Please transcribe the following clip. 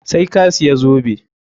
Sai ka siya zobe!